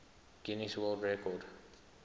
guinness world record